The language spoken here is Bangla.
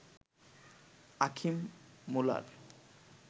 Achim Muller